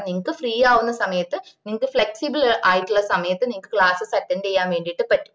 നിങ്ങക്ക് free ആവന്ന സമയത് നിങ്ങക്ക് flexible ആയിട്ടുള്ള സമയത് classessattend ചെയ്യാൻ വേണ്ടിട്ട് പറ്റും